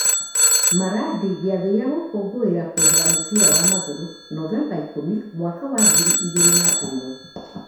Maradi gĩathĩ gĩa gũkũngũĩra kũehera mũbira wa magũrũ Novemba ikũmi, mwaka wa ngiri igĩrĩ na ĩmwe.